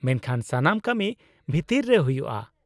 -ᱢᱮᱱᱠᱷᱟ ᱥᱟᱱᱟᱢ ᱠᱟᱹᱢᱤ ᱵᱷᱤᱛᱤᱨ ᱨᱮ ᱦᱩᱭᱩᱜᱼᱟ ᱾